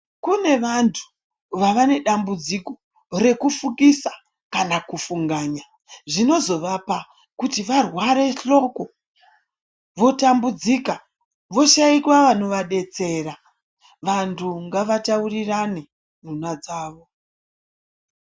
Kune vantu vava nedambudziko rekufungisa kana kufunganya, zvinozovapa kuti varware hloko, votambudzika, voshaikwa vanovadetsera. Vantu ngavataurirane nhunha dzavo.